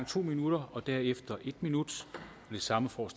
to minutter og derefter en minut det samme får